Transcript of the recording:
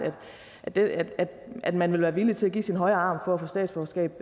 at man vil være villig til at give sin højre arm for at få statsborgerskab